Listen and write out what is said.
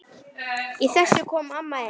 Í þessu kom amma inn.